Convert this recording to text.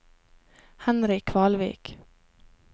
Henry Kvalvik